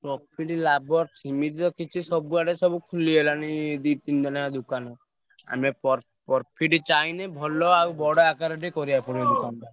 Profit ଲାଭ ସେମିତି ତ କିଛି ସବୁଆଡେ ତ ସବୁ ଖୋଲିଗଲାଣି ଦି ତିନିଟା ଲେଖା ଦୋକାନ। ଆମେ ପର profit ଚାହିଁଲେ ଭଲ ଆଉ ବଡ ଆକାରଟେ କରିଆକୁ ପଡିବ ଦୋକାନଟା।